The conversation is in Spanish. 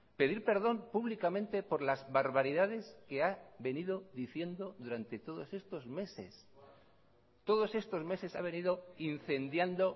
pedir perdón públicamente por las barbaridades que ha venido diciendo durante todos estos meses todos estos meses ha venido incendiando